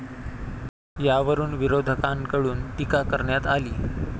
यावरून विरोधकांकडून टीका करण्यात आली.